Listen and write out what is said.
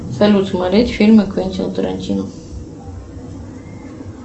салют смотреть фильмы квентина тарантино